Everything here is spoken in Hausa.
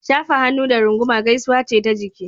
Shafahannu da runguma gaisuwa ce ta jiki.